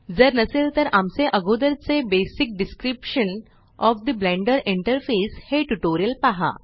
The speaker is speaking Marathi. जर नसेल तर आमचे अगोदरचे basic description of the Blender interface हे ट्यूटोरियल पहा